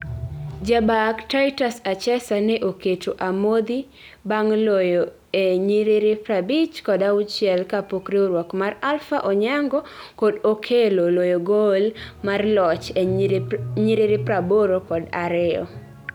jabak Titus Achesa ne oketo amodhi bang loyoe nyiriri prabich kod auchiel kapok riwruok mar Alpha onyango kod Okello loyo gol mar loch e nyiriri praboro kod ariyo